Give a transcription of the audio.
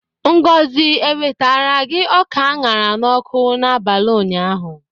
Ngozi ewetara gi ọka a ṅara n'ọkụ n'abalị ụnyaahụ?